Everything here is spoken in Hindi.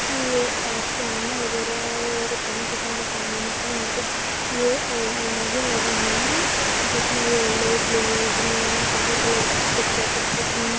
ये किराना वगैरे और बहुत ही सामान की यहाँ पे ये अलमारिया लगी हुई है जिसमे ये येल्लो ब्लू ग्रीन सारे कलर की कु्छ पैकेट्स रखी हुई--